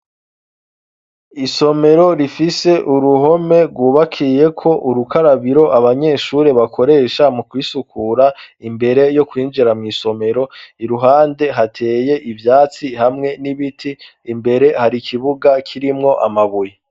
Isomero rifise uruhome rwubakiye ko urukarabiro abanyeshuri bakoresha mu kwisukura imbere yo kwinjira mw'isomero iruhande hateye ivyatsi hamwe n'ibiti imbere hari ikibuga kirimwo amabuye.